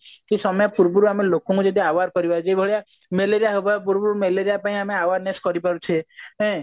ସେ ସମୟ ପୂର୍ବରୁ ଯଦି ଲୋକମାନଙ୍କୁ ଯଦି ଆମେ aware କରିବା ଯେଉ ଭଳି ମେଲେରିଆ ହେବା ପୂର୍ବରୁ ମେଲେରିଆ ପାଇଁ ଆମେ awareness କରି ପାରୁଛେ ନାଇଁ